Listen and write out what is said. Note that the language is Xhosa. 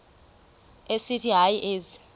esithi hayi ezi